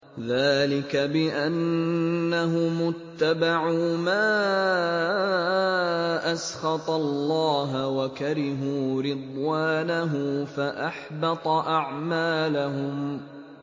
ذَٰلِكَ بِأَنَّهُمُ اتَّبَعُوا مَا أَسْخَطَ اللَّهَ وَكَرِهُوا رِضْوَانَهُ فَأَحْبَطَ أَعْمَالَهُمْ